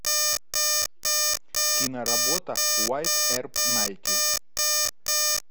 киноработа уайетт эрп найти